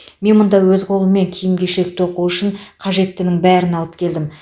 мен мұнда өз қолыммен киім кешек тоқу үшін қажеттінің бәрін алып келдім